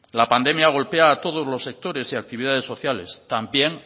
la pandemia golpea a todos los sectores y actividades sociales también